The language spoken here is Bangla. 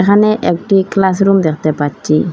এখানে একটি ক্লাসরুম দেখতে পাচ্ছি।